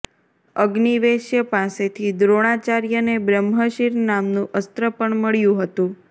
અગ્નિવેશ્ય પાસેથી દ્રોણાચાર્યને બ્રહ્મશિર નામનું અસ્ત્ર પણ મળ્યું હતું